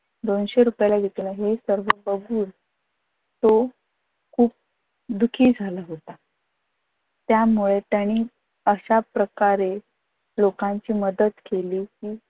दोनशे रुपयाला विकल हे सर्व बघून तो खूप दुखी झाला होता त्यामुळ त्यांनी अशा प्रकारे लोकांची मदत केली